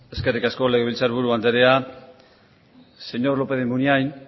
eskerrik asko legebiltzar buru andrea señor lópez de munain